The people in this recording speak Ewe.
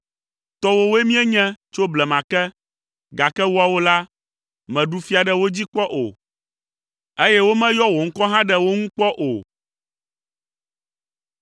Tɔwòwoe míenye tso blema ke, gake woawo la, mèɖu fia ɖe wo dzi kpɔ o, eye womeyɔ wò ŋkɔ hã ɖe wo ŋu kpɔ o.